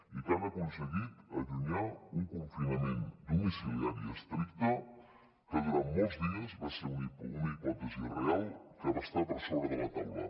i que han aconseguit allunyar un confinament domiciliari estricte que durant molts dies va ser una hipòtesi real que va estar per sobre de la taula